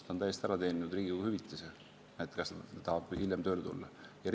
Ta ütles, et ta on Riigikogu liikme hüvitise täiesti ära teeninud ja seetõttu tahab tööle tulla hiljem.